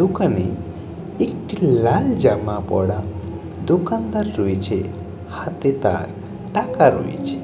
দোকানে একটি লাআল জামা পরা দোকানদার রয়েছেহাতে তার টাকা রয়েছে